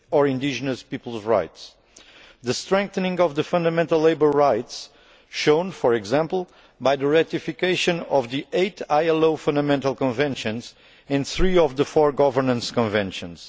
indigenous peoples' rights strengthening of fundamental labour rights shown, for example, by the ratification of the eight ILO fundamental conventions and three of the four governance conventions